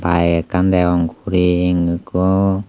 bike ekkan degong guring ekko.